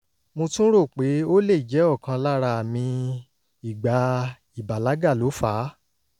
mo tún rò pé ó lè jẹ́ ọ̀kan lára àmì ìgbà ìbàlágà ló fà á